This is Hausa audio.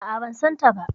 A'a, ban san ta ba.